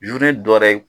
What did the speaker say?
dɔɛrɛ ye